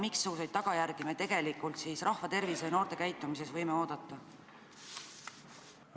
Missuguseid tagajärgi me tegelikult rahva tervisele ja noorte käitumisele võime oodata?